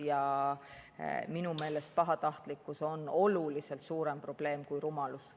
Aga minu meelest on pahatahtlikkus oluliselt suurem probleem kui rumalus.